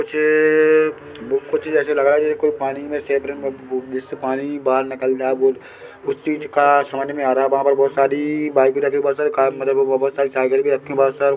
मुझे एए कुछ ऐसे लग रहा है जैसे कोई पानी में सब्रेन व् गु-गु-जिससे पानी बहार निकल जा बूट उस चीज का समज में आ रहा वहाँ पर बहोत सारीईई बाइक रखी बहोत सारी साइकिल भी रखी बहार सब--